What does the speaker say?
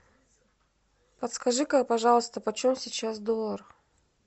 подскажи ка пожалуйста почем сейчас доллар